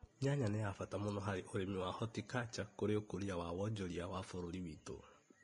Nyanya nĩ ya bata mũno harĩ ũrĩmi wa horticulture kũrĩ ũkũria wa wonjoria wa bũrũri witũ.